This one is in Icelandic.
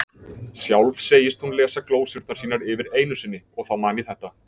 Sjálf segist hún lesa glósurnar sínar yfir einu sinni, og þá man ég þetta